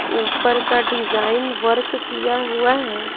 ऊपर का design work किया हुआ है।